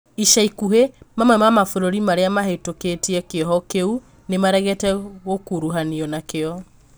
ica ikuhĩ, mamwe ma mabũrũri maria mahĩtũkĩtie kĩoho kĩu nĩmaregete gũkũrũhanio nakio